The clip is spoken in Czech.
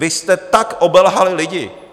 Vy jste tak obelhali lidi.